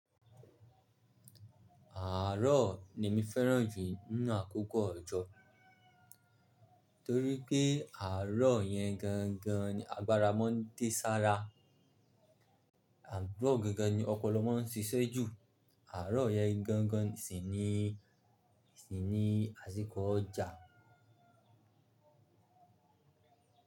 Àárọ̀ ni mí féràn jù nínú àkókò ọjọ́, torí pé àárọ̀ yẹn gangan ni agbára má ń dé sára, àrọ̀ gangan ni ọpọlọ má ń ṣíṣẹ́ jù, àárọ̀ yẹn gangan sì ni, sì ni àsìkò ọjà.